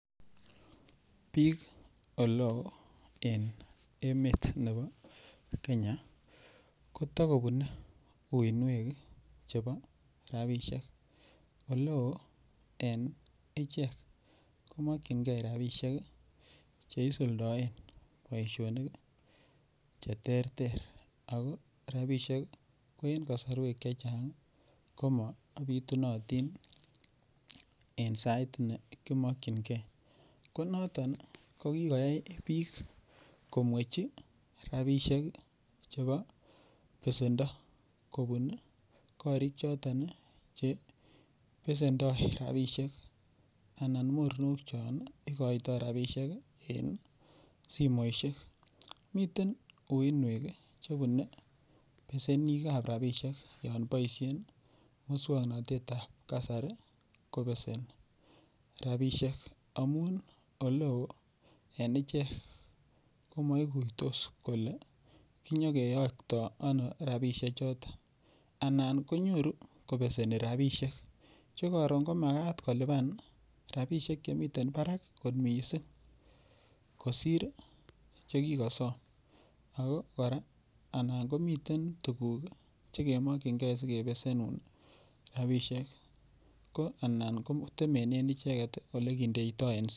Piik olo eng' emet nepo Kenya ko tikopune uuinwek chepo rapishek oloo en ichek komakjingei rapishek cheisuldaen boisionik cheterter ako rapishek ko en kasarwoik chechang' komapitunatin en sait nekimakchinigei konoton ko kigoyoi piik komwechi rapishek chepo pesendo kopun korik choton chepesendoi rapishek anan mornok chon cheikoytoy en simoishek miten uuinwek chepune pesenik ab rapishek yon paishen muskwog'natet ab kasari kopesen rapishek amun oloo en ichen komaiguitos kole kinyigeyokto ono rapishek choton anan konyoru kopesen rapishek chekaron ko makat kolipan rapishek chemiten parak akot mising' kosir chekigasom ako koraa nan komiten tuguk chekemakchingei sikepesen rapishek ko anan kotemenen icheket ole kidoitoy.